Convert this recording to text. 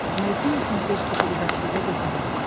найти на смотрешке передачу егэ тв